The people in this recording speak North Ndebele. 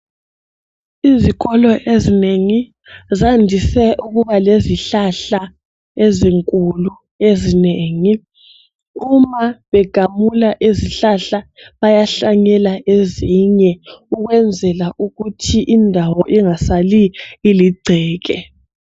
Izikolo ezinengi zandise ukuba lezihlahla ezinkulu ezinengi. Uma begamula izihlahla, bayahlanyela ezinye ukwenzela ukuthi indawo ingasali iligceke.